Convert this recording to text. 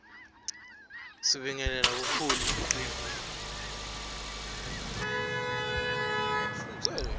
sibingelela buholi belicembu